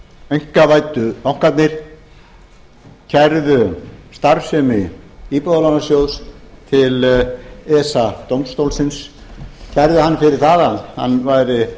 einkavæddu bankarnir kærðu starfsemi íbúðalánasjóðs til esa dómstólsins kærðu hann fyrir það að hann væri